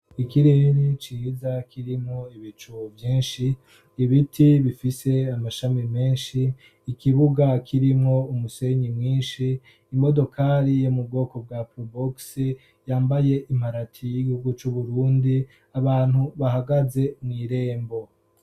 ikirere ciza kirimwo ibicu vyinshi, ibiti bifise amashami menshi, ikibuga kirimwo umusenyi mwinshi, imodokari yo mu bwoko bwa probox yambaye imparati y'igihugu c'Uburundi abantu bahagaze mw'irembo.